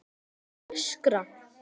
ÞARFTU AÐ ÖSKRA